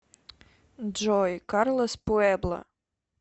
джой карлос пуэбла